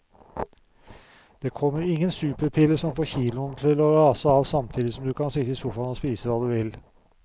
Det kommer ingen superpille som får kiloene til å rase av samtidig som du kan sitte i sofaen og spise hva du vil.